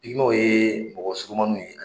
ye mɔgɔ surumanninw ye